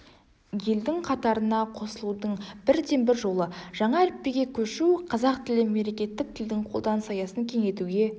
елдің қатарына қосылудың бірден-бір жолы жаңа әліпбиге көшу қазақ тілі мемлекеттік тілдің қолданыс аясын кеңейтуге